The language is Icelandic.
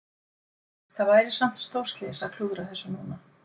Það væri samt stórslys að klúðra þessu núna?